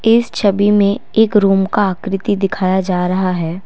इस छवि में एक रूम का आकृति दिखाई जा रहा है।